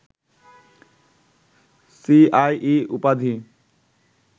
C I E উপাধি